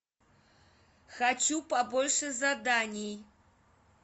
хочу побольше заданий